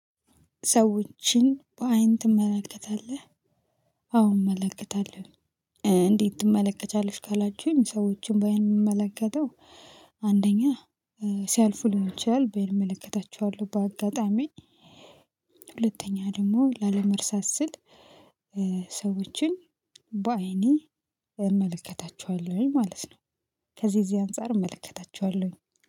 ሰዎችን በአይን ትመለከታለህ? አወ እመለከታለሁ። እንዴት ትመለከቻለሽ ካላችሁኝ ሰዎችን ባይመለከተው አንደኛ ሲያልፉ ሊሆን ይችላል እመለከታችኋለሁ በአጋጣሚ። ሁለተኛ ደግሞ ላለመርሳት ስል ሰዎችን በአይኔ እመለከታቸዋለሁኝ ማለት ነው። ከዚህ እዚህ አንፃር እመለከታቸዋለሁኝ